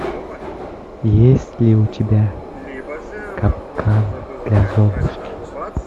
есть ли у тебя капкан для золушки